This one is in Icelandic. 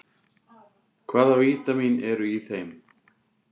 Hvaða vítamín eru í þeim?